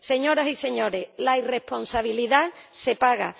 aéreas. Señoras y señores, la irresponsabilidad se